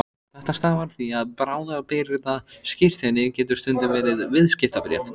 Þetta stafar af því að bráðabirgðaskírteini getur stundum verið viðskiptabréf.